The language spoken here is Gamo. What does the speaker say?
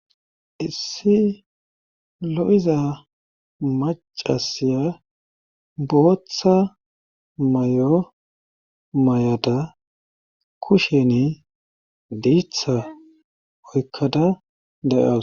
issi lo7iza macasiya bootha may7o may7ada kusheni diitha oykkada dayaa